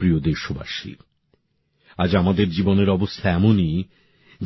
আমার প্রিয় দেশবাসী আজ আমাদের জীবনের অবস্থা এমনই